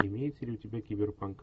имеется ли у тебя киберпанк